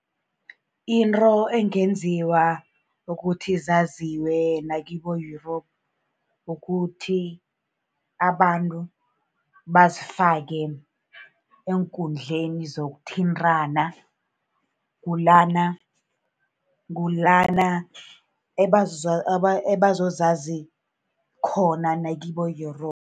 Into engenziwa ukuthi zaziwe nakibo-Europe, kukuthi abantu bazifake eenkundleni zokuthintana. Kulana, kulana abazozazi khona nakibo-Europe.